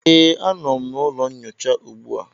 Ee, a nọ m n'ụlọ nyocha ugbu a